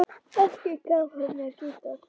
Ekki gaf hún mér gítar.